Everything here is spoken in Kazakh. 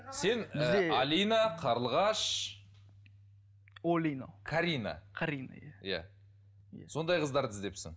сен ііі алина қарлығаш олино карина қарина иә иә сондай қыздарды іздепсің